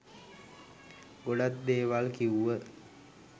ගොඩක් දේවල් කිව්ව